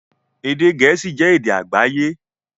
Èdè Gẹ̀ẹ́sì jẹ́ èdè àgbáyé